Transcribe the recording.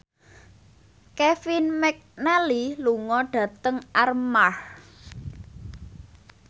Kevin McNally lunga dhateng Armargh